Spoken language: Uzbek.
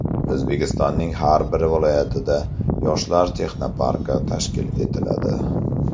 O‘zbekistonning har bir viloyatida Yoshlar texnoparki tashkil etiladi.